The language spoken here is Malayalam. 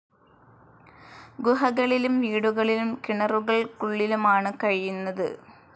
ഗുഹകളിലും വീടുകളിലും കിണറുകൾക്കുള്ളിലുമാണ് കഴിയുന്നത്.